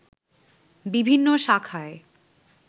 বিভিন্ন শাখায়